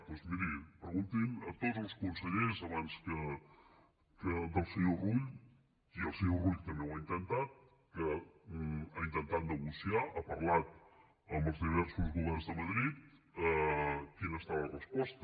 doncs miri preguntin a tots els consellers abans del senyor rull i el senyor rull també ho ha intentat ha intentat negociar ha parlat amb els diversos governs de madrid quina ha estat la resposta